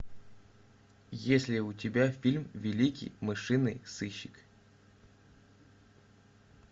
есть ли у тебя фильм великий мышиный сыщик